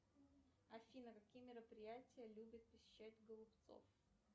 афина какие мероприятия любит посещать голубцов